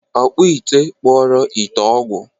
Ọkpụ ite kpụọrọ ite ọgwụ!